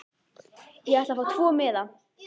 Ég ætla að fá tvo miða.